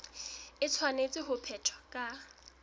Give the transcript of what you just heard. e tshwanetse ho phethwa ka